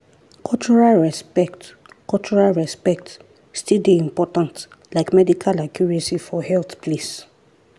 cultural respect cultural respect still dey important like medical accuracy for health place.